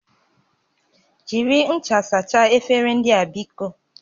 Jiri ncha sachaa efere ndị a biko!